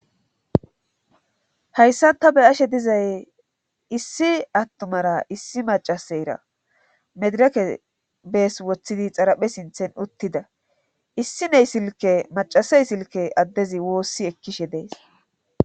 hayssa ta be ashe dizay issi attumara issi macaseyra medireke bees wothidi xaraphe sinthen uttida issi ney silke macasey silke addezi woossi ekkishe dees